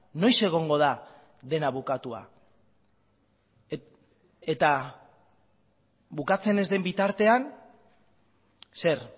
noiz egongo da dena bukatua eta bukatzen ez den bitartean zer